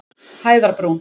Hæðarbrún